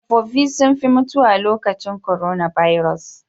Tsofafi sun fi mutuwa lokacin korona baros.